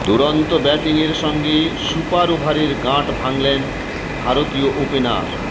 দুরন্ত ব্যাটিংয়ের সঙ্গে সুপার ওভারের গাঁট ভাঙলেন ভারতীয় ওপেনার